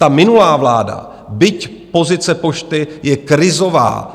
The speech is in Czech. Ta minulá vláda, byť pozice pošty je krizová